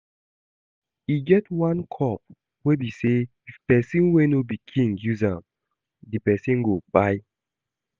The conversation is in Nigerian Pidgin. E get one cup wey be say if person wey no be king use am, the person go kpai